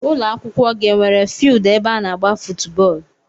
Ụlọakwụkwọ gị enwere fieeldu ebe ana agba footu bóólú?